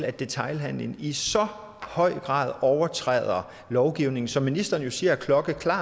at detailhandelen i så høj grad overtræder lovgivningen som ministeren jo siger er klokkeklar